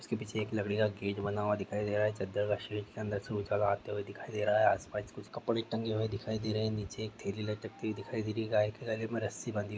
उसके पीछे एक लकड़ी का गेट बना हुआ दिखाई दे रहा है चदर का शेट अंदर ऊँचा आते हुए दिखाई दे रहा है आसपास कुछ कपडे टंगे हुए दिखाई दे रहे है नीचे एक थेली लटकती हुई दिखाई दे रही है गाय के गले में रस्सी बँधी हुई।